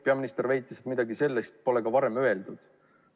Peaminister väitis, et midagi sellist pole ka öeldud.